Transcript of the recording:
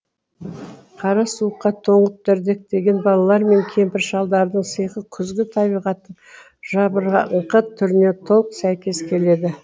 қара суыққа тоңып дірдектеген балалар мен кемпір шалдардың сиқы күзгі табиғаттың жабыраңқы түріне толық сәйкес келеді